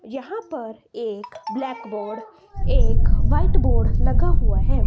यहां पर एक ब्लैक बोर्ड एक व्हाइट बोर्ड लगा हुआ हैं।